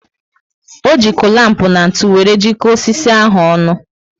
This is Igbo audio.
O ji culamp na ntụ wéré jiko osisi ahụ ọnụ